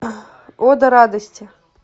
ода радости